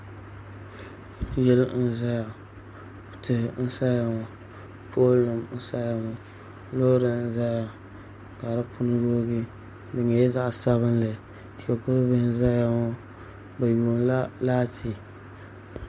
Yili n ʒɛya tihi n saya ŋo pool nim n sayq ŋo loori n ʒɛya ka di puuni yoogi di nyɛla zaɣ sabinli shikuru bihi n ʒɛya ŋo bi yuundila laati